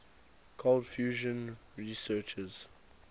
cold fusion researchers